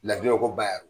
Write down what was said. Ladili ko ba y'aw